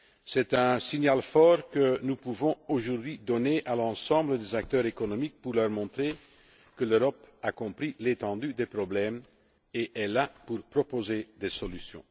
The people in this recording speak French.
PME. C'est un signal fort que nous pouvons aujourd'hui adresser à l'ensemble des acteurs économiques pour leur montrer que l'Europe a compris l'étendue des problèmes et est là pour proposer des solutions.